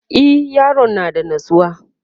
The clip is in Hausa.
e Yaron yana da natsuwa